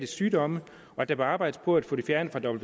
sygdomme og at der bør arbejdes på at få det fjernet